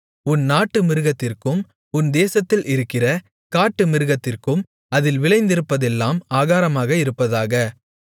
உன் நாட்டு மிருகத்திற்கும் உன் தேசத்தில் இருக்கிற காட்டு மிருகத்திற்கும் அதில் விளைந்திருப்பதெல்லாம் ஆகாரமாக இருப்பதாக